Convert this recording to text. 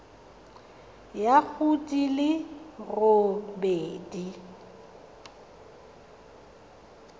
ya go di le robedi